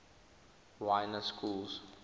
y na schools